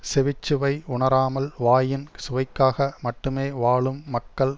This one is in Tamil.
செவிச்சுவை உணராமல் வாயின் சுவைக்காக மட்டுமே வாழும் மக்கள்